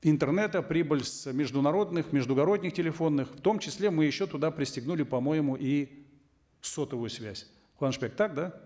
интернета прибыль с международных междугородних телефонных в том числе мы еще туда пристегнули по моему и сотовую связь куанышбек так да